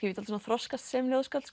ég dálítið þroskast sem ljóðskáld